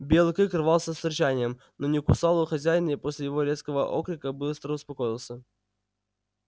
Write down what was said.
белый клык рвался с рычанием но не кусал его хозяин и после его резкого окрика быстро успокоился